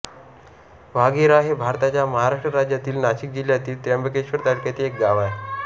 वाघेरा हे भारताच्या महाराष्ट्र राज्यातील नाशिक जिल्ह्यातील त्र्यंबकेश्वर तालुक्यातील एक गाव आहे